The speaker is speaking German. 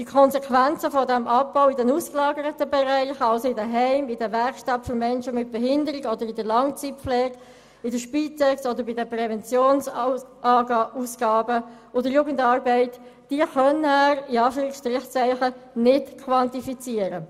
Die Konsequenzen dieses Abbaus in den ausgelagerten Bereichen, also in den Heimen, in den Werkstätten für Menschen mit Behinderungen, oder in der Langzeitpflege, in der Spitex oder bei den Präventionsmassnahmen und in der Jugendarbeit, könne er «nicht quantifizieren».